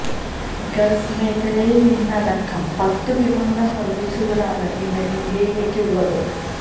Gulf മേഖലയിൽ നിന്നടക്കം പത്ത് വിമാന സർവീസുകളാണ് ഇന്ന് ഇന്ത്യയിലേക്ക് ഉള്ളത്